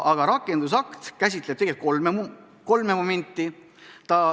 See rakendusakt käsitleb kolme momenti.